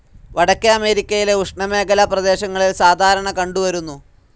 വടക്കേ അമേരിക്കയിലെ ഉഷ്ണമേഖലാ പ്രദേശങ്ങളിൽ സാധാരണ കണ്ടുവരുന്നു.